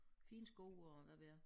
Fine sko og hvad ved jeg